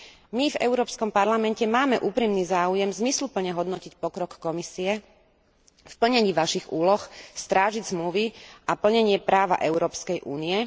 My v Európskom parlamente máme úprimný záujem zmysluplne hodnotiť pokrok Komisie v plnení vašich úlohy, strážiť zmluvy a plnenie práva Európskej únie.